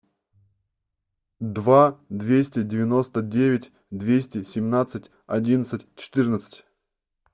два двести девяносто девять двести семнадцать одиннадцать четырнадцать